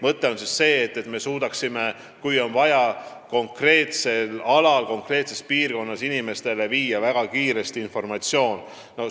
Jutt on olukorrast, kus on vaja konkreetses piirkonnas inimestele väga kiiresti informatsiooni edasi anda.